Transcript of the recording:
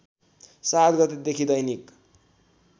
७ गतेदेखि दैनिक